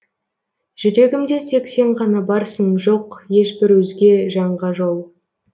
жүрегімде тек сен ғана барсың жоқ ешбір өзге жанға жол